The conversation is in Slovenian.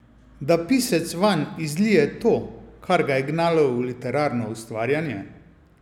Da pisec vanj izlije to, kar ga je gnalo v literarno ustvarjanje?